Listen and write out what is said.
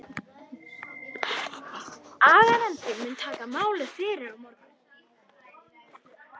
Aganefndin mun taka málið fyrir á morgun.